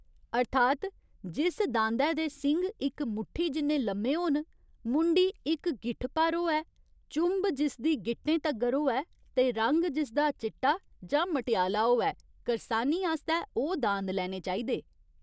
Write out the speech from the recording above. अर्थात् जिस दांदै दे सिंग इक मुट्ठी जिन्ने लम्मे होन, मुंडी इक गिट्ठ भर होऐ, चुंब जिसदी गिट्टें तगर होऐ ते रंग जिसदा चिट्टा जां मटेआला होऐ, करसानी आस्तै ओह् दांद लैने चाहिदे।